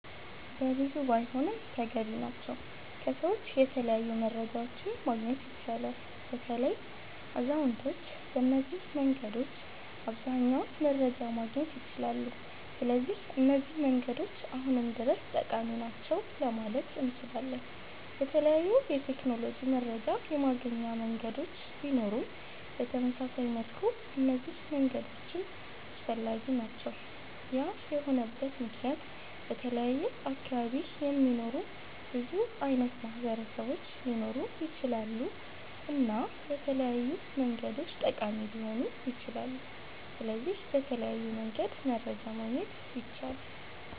በብዙ ባይሆንም ተገቢ ናቸዉ ከሰዎች የተለያዩ መረጃዎችን ማግኘት ይቻላል። በተለይ አዛዉነቶች በነዚህ መንገዶች አብዘሃኛዉን መረጃ ማግኘት ይችላሉ ስለዚህ እነዚህ መንገዶች አሁንም ድረስ ጠቃሚ ናቸዉ ለማለት እነችላለን። የተለያዩ የቴክኖሎጂ መረጃ የማገኛ መንገዶች ቢኖሩም በተመሳሳይ መልኩ እነዚህ መንገዶችም አስፈላጊ ናቸዉ ያ የሆነበት መክንያት በተለያየ አካባቢ የሚኖሩ ብዙ አይነት ማህበረሰቦች ሊኖሩ ይችላሉ እና በተለያዩ መንገዶች ጠቃሚ ሊሆኑ ይችላሉ። ስለዚህ በተለያዩ መንገድ መረጃ ማግኘት ይቻላል